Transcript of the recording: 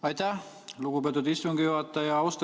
Aitäh, lugupeetud istungi juhataja!